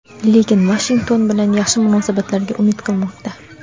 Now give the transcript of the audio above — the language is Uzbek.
lekin Vashington bilan yaxshi munosabatlarga umid qilmoqda.